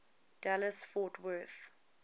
dallas fort worth